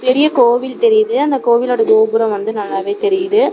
பெரிய கோவில் தெரியுது அந்த கோவிலோட கோபுர வந்து நல்லாவே தெரியுது.